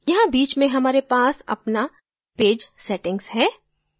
यहाँ बीच में हमारे page अपना page settings है